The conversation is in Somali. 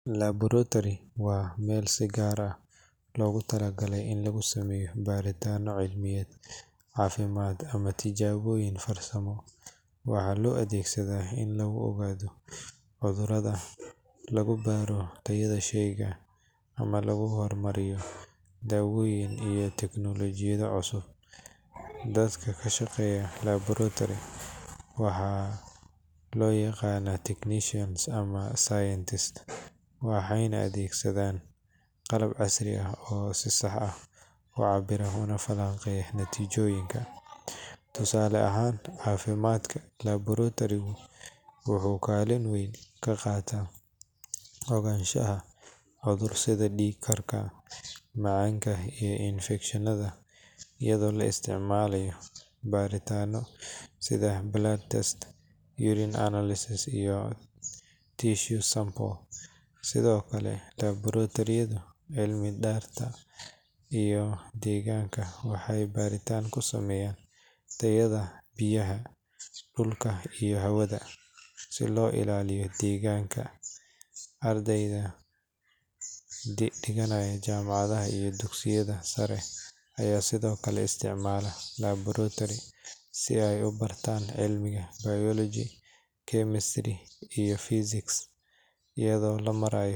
Laboratory waa meel si gaar ah loogu talagalay in lagu sameeyo baaritaanno cilmiyeed, caafimaad ama tijaabooyin farsamo. Waxaa loo adeegsadaa in lagu ogaado cudurrada, lagu baaro tayada sheyga, ama lagu horumariyo daawooyin iyo tiknoolajiyado cusub. Dadka ka shaqeeya laboratory waxaa loo yaqaanaa technicians ama scientists waxayna adeegsadaan qalab casri ah oo si sax ah u cabbira una falanqeeya natiijooyinka. Tusaale ahaan, caafimaadka, laboratory-gu wuxuu kaalin weyn ka qaataa ogaanshaha cudur sida dhiig-karka, macaanka iyo infekshannada iyadoo la isticmaalayo baaritaano sida blood test, urine analysis iyo tissue samples. Sidoo kale, laboratory-yada cilmiga dhirta iyo deegaanka waxay baaritaan ku sameeyaan tayada biyaha, dhulka iyo hawada si loo ilaaliyo deegaanka. Ardayda dhigata jaamacadaha iyo dugsiyada sare ayaa sidoo kale isticmaala laboratory si ay u bartaan cilmiga biology, chemistry iyo physics iyadoo loo marayo.